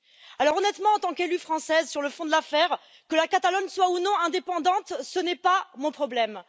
Alors, honnêtement, en tant qu'élue française sur le fond de l'affaire, que la Catalogne soit ou non indépendante, ce n'est pas mon problème.